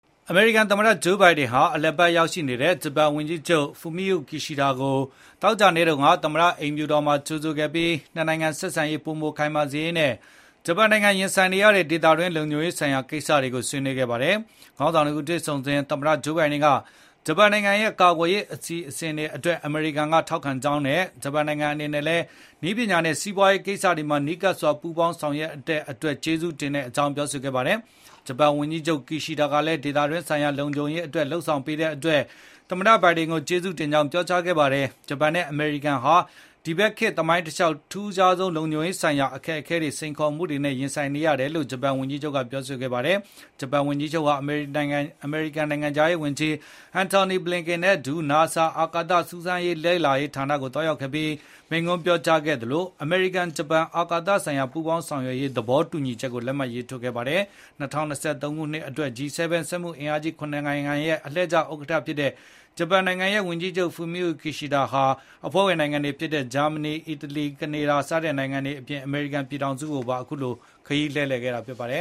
အမေရိကန်သမ္မတဂျိုးဘိုင်ဒန်ဟာ အလည်ရောက်ရှိနေတဲ့ ဂျပန်ဝန်ကြီးချုပ်ဖူမိယိုကီရှိဒ (Fumio Kishida) ကို သောကြာနေ့က သမ္မတအိမ်ဖြူတော်မှာကြိုဆိုဧည့်ခံခဲ့ပြီး နှစ်နိုင်ငံဆက်ဆံရေးပိုမိုခိုင်မာစေရေးနဲ့ ဂျပန်နိုင်ငံရင်ဆိုင်နေရတဲ့ ဒေသတွင်းလုံခြုံရေးဆိုင်ရာကိစ္စတွေကို ဆွေးနွေးခဲ့ပါတယ်။ ခေါင်းဆောင်နှစ်ဦးတွေ့ဆုံစဉ် သမ္မတဂျိုးဘိုင်ဒန်က ဂျပန်နိုင်ငံရဲ့ကာကွယ်ရေးအစီအစဉ်တွေအတွက် အမေရိကန်က ထောက်ခံကြောင်းနဲ့ ဂျပန်နိုင်ငံအနေနဲ့ နည်းပညာနဲ့ စီးပွားရေးကိစ္စတွေမှာနီးကပ်စွာ ပူးပေါင်းလုပ်ဆောင်တဲ့အတွက် လည်း ကျေးဇူးတင်ကြောင်း ပြောဆိုခဲ့ပါတယ်။ ဂျပန်ဝန်ကြီးချုပ်ကီရှီဒါကလည်း ဒေတွင်းဆိုင်ရာလုံခြုံရေးအတွက်လုပ်ဆောင်ပေးတဲ့အတွက် သမ္မတဘိုင်ဒန်ကို ကျေးဇူးတင်ကြောင်းပြောကြားခဲ့ပြီး ဂျပန်နဲ့အမေရိကန်ဟာ ဒီဘက်ခေတ် သမိုင်းတလျှောက် အထူးခြားဆုံး လုံခြုံရေးဆိုင်ရာ အခက်အခဲတွေ၊ စိန်ခေါ်မှုတွေနဲ့ရင်ဆိုင်နေရတယ်လို့ ဂျပန်ဝန်ကြီးချုပ်ကပြောကြားခဲ့ပါတယ်။ ဂျပန်ဝန်ကြီးချုပ်ဟာ အမေရိကန်နိုင်ငံခြားရေးဝန်ကြီး Antony Blinken နဲ့အတူ NASA အာကာသစူးစမ်းလေ့လာရေးဌာန ကိုသွားရောက်ခဲ့ပြီး မိန့်ခွန်းပြောကြားခဲ့သလို အမေရိကန်-ဂျပန်အာကာသဆိုင်ရာပူးပေါင်းဆောင်ရွက်ရေး သဘောတူညီချက်ကိုလည်း လက်မှတ်ရေးထိုးခဲ့ပါတယ်။ ၂၀၂၃ ခုနှစ်အတွက် G7 စက်မှုအင်အားကြီး ၇ နိုင်ငံရဲ့အလှည့်ကျဥက္ကဋ္ဌဖြစ်တဲ့ ဂျပန်နိုင်ငံရဲ့ဝန်ကြီးချုပ် Fumio Kishida ဟာ အဖွဲ့ဝင်နိုင်ငံတွေဖြစ်တဲ့ ဗြိတိန်၊ ဂျာမနီ၊ အီတလီ၊ ကနေဒါ စတဲ့မဟာမိတ်နိုငံတွေထံ ခရီးလှည့်လည်ခဲ့ပြီး အခုနောက်ဆုံး အမေရိကန်ပြည်ထောင်စုကိုရောက်လာခဲ့တာဖြစ်ပါတယ